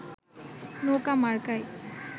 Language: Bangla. নৌকা মার্কায়